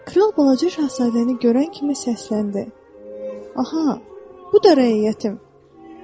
Kral balaca şahzadəni görən kimi səsləndi: "Aha, bu da rəiyyətim."